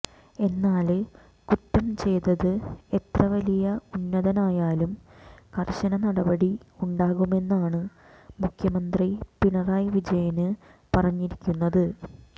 എന്നാല് കുറ്റം ചെയ്തത് എത്ര വലിയ ഉന്നതനായാലും കര്ശന നടപടി ഉണ്ടാകുമെന്നാണ് മുഖ്യമന്ത്രി പിണറായി വിജയന് പറഞ്ഞിരിക്കുന്നത്